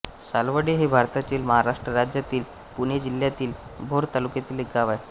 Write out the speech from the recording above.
सालवडे हे भारताच्या महाराष्ट्र राज्यातील पुणे जिल्ह्यातील भोर तालुक्यातील एक गाव आहे